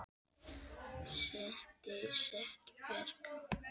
Set og setberg